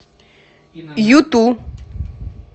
юту